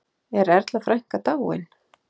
Er Erla frænka dáin?